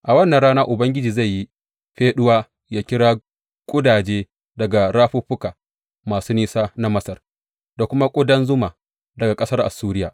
A wannan rana Ubangiji zai yi feɗuwa yă kira ƙudaje daga rafuffuka masu nisa na Masar da kuma ƙudan zuma daga ƙasar Assuriya.